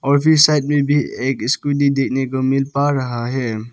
और भी एक स्कूटी देखने को मिल पा रहा है।